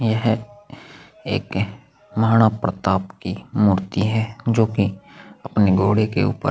यह एक महाराणा प्रताप की मूर्ति है जो कि अपने घोड़े के ऊपर --